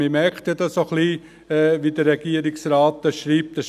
Man merkt das ein klein wenig, wie es der Regierungsrat schreibt.